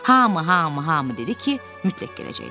Hamı, hamı, hamı dedi ki, mütləq gələcəklər.